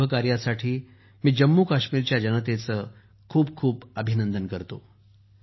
या शुभ कार्यासाठी मी जम्मूकाश्मीरच्या जनतेचे खूप खूप अभिनंदन करतो